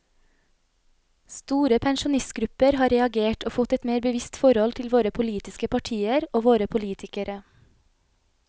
Store pensjonistgrupper har reagert og fått et mer bevisst forhold til våre politiske partier og våre politikere.